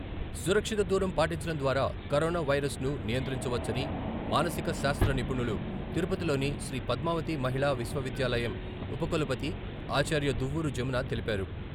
సురక్షిత దూరం పాటించడం ద్వారా కరోనా వైరస్ ను నియంత్రించవచ్చని మానసిక శాస్త్ర నిపుణులు, తిరుపతిలోని శ్రీ పద్మావతి మహిళా విశ్వవిద్యాలయం ఉపకులపతి ఆచార్య దువ్వూరు జమున తెలిపారు.